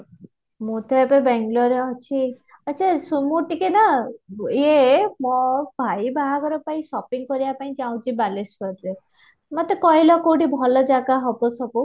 ମୁଁ ତ ଏବେ ବେଙ୍ଗାଲୁରୁ ରେ ଅଛି, ଆଛା ଶୁଣ ଟିକେ ନା ଈଏ ମୋ ଭାଇ ବାହାଘର ପାଇଁ shopping କରିବାକୁ ଚାହୁଁଛି ବାଲେଶ୍ୱରରେ ମୋତେ କହିଲ କୋଉଠି ଭଲ ଜାଗା ହବ ସବୁ